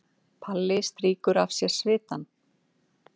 Palli strýkur af sér svitann.